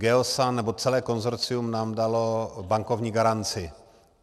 Geosan, nebo celé konsorcium nám dalo bankovní garanci.